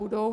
Budou.